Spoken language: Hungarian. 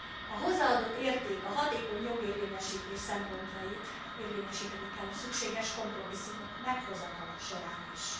A hozzáadott érték, a hatékony jogérvényesítés szempontjait érvényesíteni kell a szükséges kompromisszumok meghozatala során is.